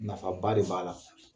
Nafaba de b'a la